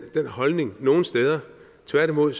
holdning nogen steder tværtimod